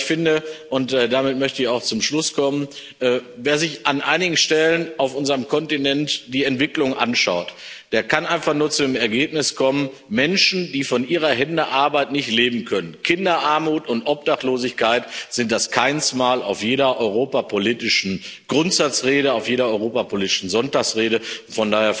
Ich finde und damit möchte ich auch zum Schluss kommen wer sich an einigen Stellen auf unserem Kontinent die Entwicklung anschaut, der kann einfach nur zu dem Ergebnis kommen, dass Menschen, die von ihrer Hände Arbeit nicht leben können, Kinderarmut und Obdachlosigkeit das Kainsmal auf jeder europapolitischen Grundsatzrede, auf jeder europapolitischen Sonntagsrede sind.